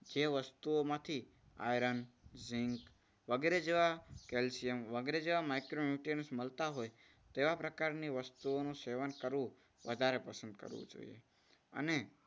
જે વસ્તુઓ માંથી આયન ઝીંક વગેરે જેવા કેલ્શિયમ વગેરે જેવા micronutrients મળતા હોય તેવા પ્રકારની વસ્તુઓનું સેવન કરવું વધારે પસંદ કરવું જોઈએ. અને